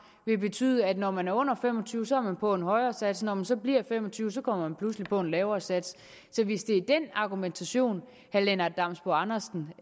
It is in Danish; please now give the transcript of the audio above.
vil betyde at når man er under fem og tyve år så er man på en højere sats og når man så bliver fem og tyve år så kommer man pludselig på en lavere sats så hvis det er den argumentation herre lennart damsbo andersen